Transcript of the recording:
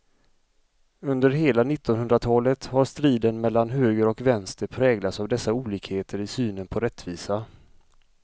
Under hela nittonhundratalet har striden mellan höger och vänster präglats av dessa olikheter i synen på rättvisa.